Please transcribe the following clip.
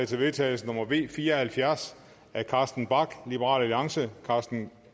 til vedtagelse nummer v fire og halvfjerds af carsten bach